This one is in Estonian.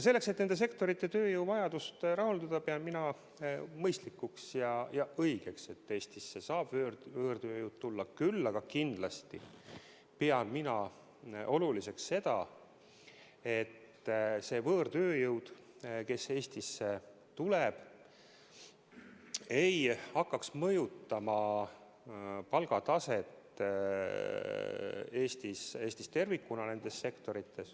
Selleks et nende sektorite tööjõuvajadust rahuldada, pean mina mõistlikuks ja õigeks, et Eestisse saab võõrtööjõud tulla küll, aga ma pean oluliseks ka seda, et see võõrtööjõud, kes Eestisse tuleb, ei hakkaks mõjutama nende sektorite palgataset Eestis tervikuna.